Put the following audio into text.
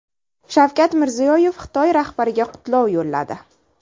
Shavkat Mirziyoyev Xitoy rahbariga qutlov yo‘lladi.